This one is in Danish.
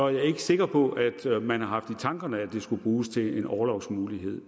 jeg ikke sikker på at man har haft i tankerne at de skulle bruges til en orlovsmulighed